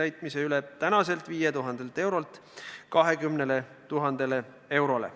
Piirmäära suurendatakse tänaselt 5000 eurolt 20 000 eurole.